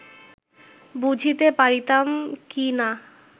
বুঝিতে পারিতাম কি না